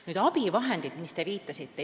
Nüüd, abivahendid, millele te viitasite.